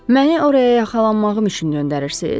“Məni oraya yaxalanmağım üçün göndərirsiz?